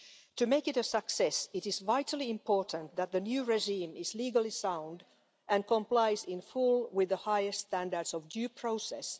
To make it a success, it is vitally important that the new regime is legally sound and complies in full with the highest standards of due process.